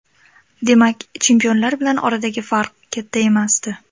Demak, chempionlar bilan oradagi farq katta emasdi.